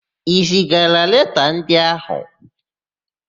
I zigala leta ndị áhụ̀?